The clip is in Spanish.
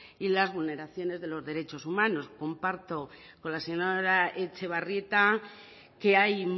y las vulneraciones de los derechos humanos comparto con la señora etxebarrieta que hay